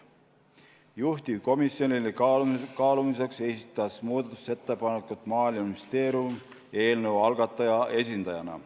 Juhtivkomisjonile kaalumiseks esitas muudatusettepaneku Maaeluministeerium eelnõu algataja esindajana.